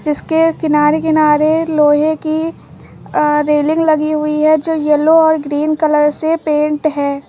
इसके किनारे किनारे लोहे की रेलिंग लगी हुई है जो येलो और ग्रीन कलर से पेंट है।